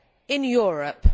in Europe.